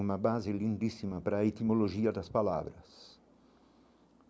Uma base lindíssima para a etimologia das palavras.